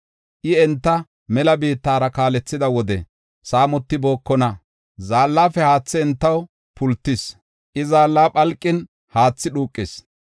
I enta mela biittara kaalethida wode saamotibookona. Zaallafe haathi entaw pultis; I zaalla phalqin haathi dhuuqis.